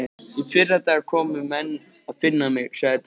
Í fyrradag komu menn að finna mig, sagði Daði.